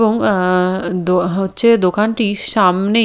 এবং আ দো হচ্ছে দোকানটি সামনে--